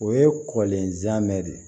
O ye kɔlenja de